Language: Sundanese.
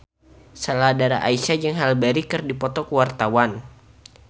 Sheila Dara Aisha jeung Halle Berry keur dipoto ku wartawan